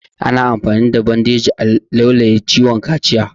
Ana amfani da bandeji a laulaye ciwon kaciya